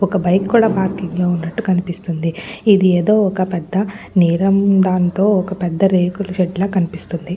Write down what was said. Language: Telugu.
ఒక బైక్ కూడా పార్కింగ్ లో ఉన్నట్టు కనిపిస్తుంది. ఇది ఏదో ఒక పెద్ద నీలం దానితో ఒక రేకులషెడ్ లా కనిపిస్తుంది.